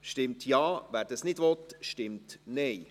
Ja, wer dies nicht will, stimmt Nein.